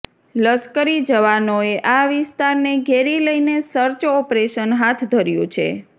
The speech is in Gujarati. લશ્કરી જવાનોએ આ વિસ્તારને ઘેરી લઈને સર્ચ ઓપરેશન હાથ ધર્યું છે